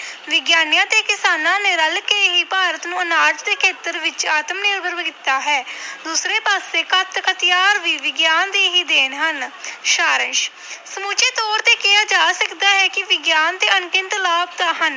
ਵਿਗਿਆਨੀਆਂ ਤੇ ਕਿਸਾਨਾਂ ਨੇ ਰਲ ਕੇ ਹੀ ਭਾਰਤ ਨੂੰ ਆਨਾਜ ਦੇ ਖੇਤਰ ਵਿੱਚ ਆਤਮ ਨਿਰਭਰ ਕੀਤਾ ਹੈ ਦੂਸਰੇ ਪਾਸੇ ਘਾਤਕ ਹਥਿਆਰ ਵੀ ਵਿਗਿਆਨ ਦੀ ਹੀ ਦੇਣ ਹਨ ਸਾਰ ਅੰਸ਼ ਸਮੁੱਚੇ ਤੌਰ ਤੇ ਕਿਹਾ ਜਾ ਸਕਦਾ ਹੈ ਕਿ ਵਿਗਿਆਨ ਦੇ ਅਣਗਿਣਤ ਲਾਭ ਤਾਂ ਹਨ